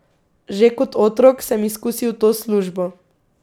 Že kot otrok sem izkusil to službo.